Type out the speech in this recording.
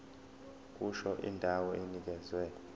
kusho indawo enikezwe